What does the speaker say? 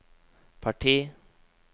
parti